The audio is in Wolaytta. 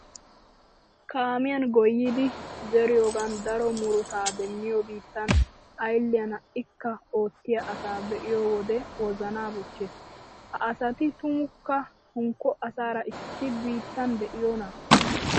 Kaamiyan goyyidi zeriyogan daro murutaa demmiya biittan aylliyan ha"ikka oottiya asaa be'iyo wode wozanaa bochchees. Ha asati tumukka hunkko asaara issi biittan de'iyonaa?